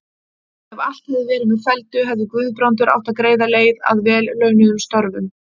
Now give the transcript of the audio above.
Ef allt hefði verið með felldu, hefði Guðbrandur átt greiða leið að vel launuðum störfum.